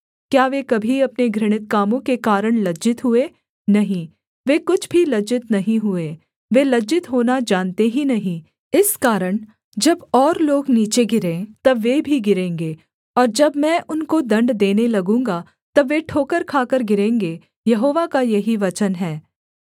क्या वे कभी अपने घृणित कामों के कारण लज्जित हुए नहीं वे कुछ भी लज्जित नहीं हुए वे लज्जित होना जानते ही नहीं इस कारण जब और लोग नीचे गिरें तब वे भी गिरेंगे और जब मैं उनको दण्ड देने लगूँगा तब वे ठोकर खाकर गिरेंगे यहोवा का यही वचन है